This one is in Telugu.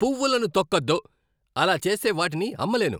పువ్వులను తొక్కొద్దు! అలా చేస్తే వాటిని అమ్మలేను!